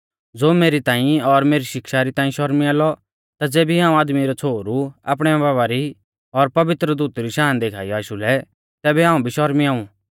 ज़ो मेरी ताईं और मेरी शिक्षा री ताईं शर्मिया लौ ता ज़ेबी हाऊं आदमी रौ छ़ोहरु आपणी बाबा री और पवित्र दूतु री शाना देखाइयौ आशु लै तैबै हाऊं भी शर्मिया ऊ